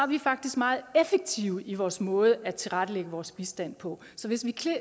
vi faktisk meget effektive i vores måde at tilrettelægge vores bistand på så hvis vi